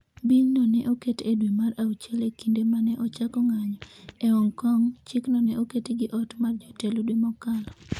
'Bil no ne oket e dwe mar auchiel e kinde ma ne ochako ng'anjo e Hong Kong, chikno ne oket gi ot mar jotelo dwe mokalo.